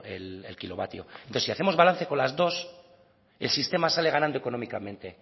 el kilovatio entonces si hacemos balance con las dos el sistema sale ganando económicamente